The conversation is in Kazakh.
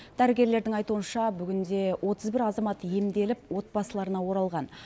дәрігерлердің айтуынша бүгінде отыз бір азамат емделіп отбасыларына оралған